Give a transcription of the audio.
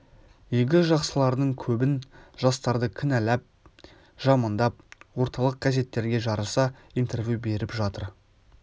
игі жақсылардың көбң жастарды кінәләп жамандап орталық газеттерге жарыса интервью беріп жатыр